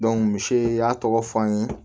misi y'a tɔgɔ fɔ an ye